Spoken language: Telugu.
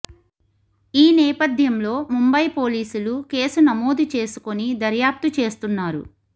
ఈ నేపథ్యంలో ముంబై పోలీసులు కేసు నమోదు చేసుకొని దర్యాప్తు చేస్తున్నారు